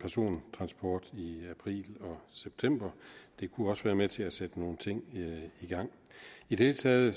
persontransport i april og september det kunne også være med til at sætte nogen ting i gang i det hele taget